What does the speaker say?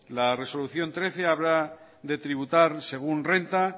la resolución trece habla de tributar según renta